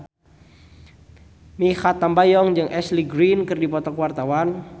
Mikha Tambayong jeung Ashley Greene keur dipoto ku wartawan